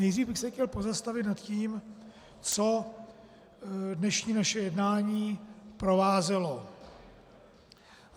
Nejdřív bych se chtěl pozastavit nad tím, co dnešní naše jednání provázelo.